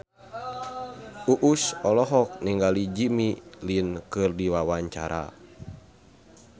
Uus olohok ningali Jimmy Lin keur diwawancara